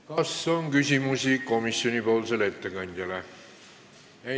Kas on küsimusi komisjoni ettekandjale?